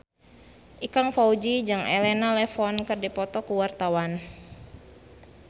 Ikang Fawzi jeung Elena Levon keur dipoto ku wartawan